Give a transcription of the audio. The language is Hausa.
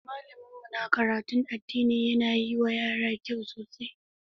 Malamin mu na karatun addini yana yi wa yara kyau sosai.